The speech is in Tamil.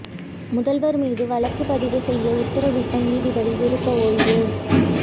முதல்வர் மீது வழக்கு பதிவு செய்ய உத்தரவிட்ட நீதிபதி விருப்ப ஓய்வு